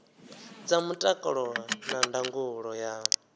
dza mutakalo na ndangulo ya